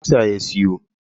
Buhu daya na kutsa ya siyo.